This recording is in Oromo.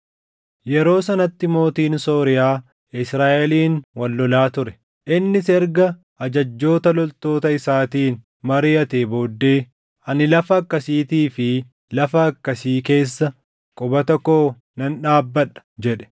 Yeroo sanatti mootiin Sooriyaa Israaʼeliin wal lolaa ture. Innis erga ajajjoota loltoota isaatiin mariʼatee booddee, “Ani lafa akkasiitii fi lafa akkasii keessa qubata koo nan dhaabbadha” jedhe.